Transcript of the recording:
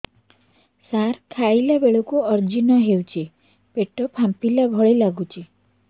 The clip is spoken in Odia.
ସାର ଖାଇଲା ବେଳକୁ ଅଜିର୍ଣ ହେଉଛି ପେଟ ଫାମ୍ପିଲା ଭଳି ଲଗୁଛି